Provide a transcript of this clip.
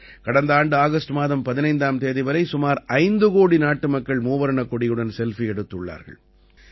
கடந்த ஆண்டு ஆகஸ்ட் மாதம் 15ஆம் தேதி வரை சுமார் 5 கோடி நாட்டு மக்கள் மூவர்ணக் கொடியுடன் செல்ஃபி எடுத்துள்ளார்கள்